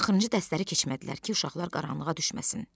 Axırıncı dərsləri keçmədilər ki, uşaqlar qaranlığa düşməsin.